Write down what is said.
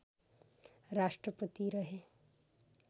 राष्ट्रपति रहे